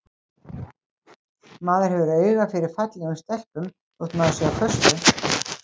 Maður hefur auga fyrir fallegum stelpum þótt maður sé á föstu.